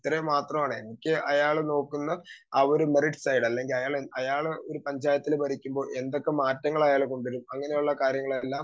speaker 2 ഇത്രയും മാത്രമാണ് എനിക്ക് അയാള് നോക്കുന്ന ഒരു മെറിറ്റ്സ് സൈഡ് അയാള് ഒരു പഞ്ചായത്തിൽ ഭരിക്കുമ്പോ എന്തൊക്കെ മാറ്റങ്ങൾ അയാള് കൊണ്ടുവരും അങ്ങനെയുള്ള കാര്യങ്ങളെല്ലാം